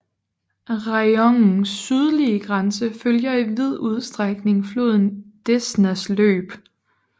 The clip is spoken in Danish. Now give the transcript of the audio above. Rajonens sydlige grænse følger i vid udstrækning floden Desnas løb